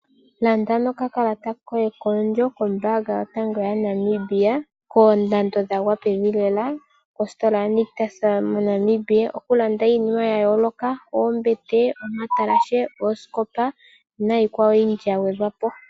Landa nokakalata koye koondjo kombaanga yotango yaNamibia koondando dhagwa pevi lela kositola yaNictus moNamibia. Oku landa iinima yayooloka ngaashi oombete, omatalashe, oosikopa nayikwawo oyindji ya gwedhwa po.